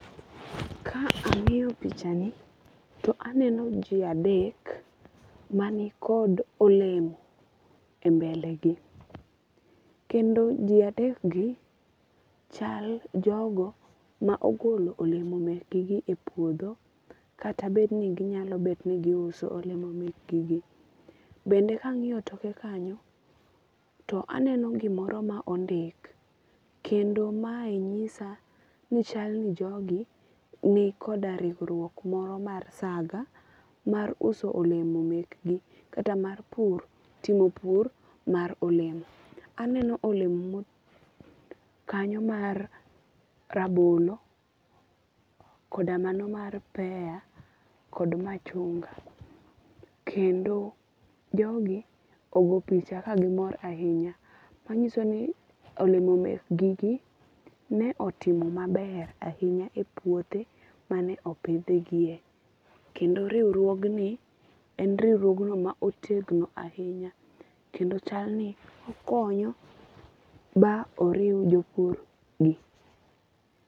Ka ang'iyo pichani to aneno ji adek mani kod olemo e mbelegi. Kendo ji adek gi chal jogo ma ogolo olemo mekgi e puodho kata bed ni ginyalo bet ni giusu olemo mek gi gi. Bende ka ang'iyo toke kanyo, to aneno gimoro ma ondik. Kendo mae nyisa ni chal ni jogi ni koda riwruok moro mar saga mar uso olemo mek gi kata mar pur timo pur mar olemo. Aneno olemo kanyo mar rabolo, koda mano mar pea, kod machunga. Kendo jogi ogo picha ka gimor ahinya. Manyiso ni olemo mek gi gi ne otimo maber ahinya e puothe mane opidh gie. Kendo riwruog ni e riwruogno ma otegno ahinya. Kendo chal ni okonyo ma oriw jopur gi.